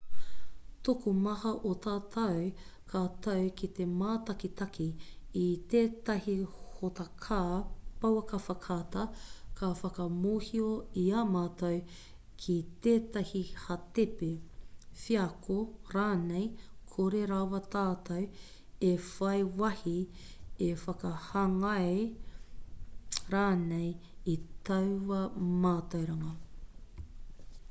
tokomaha o tātou ka tau ki te mātakitaki i tētahi hōtaka pouaka whakaata ka whakamōhio i a mātou ki tētahi hātepe wheako rānei kore rawa tātou e whai wāhi e whakahāngai rānei i taua mātauranga